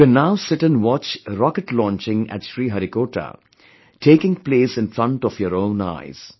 You can now sit & watch rocket launching at Sriharikota, taking place in front of your own eyes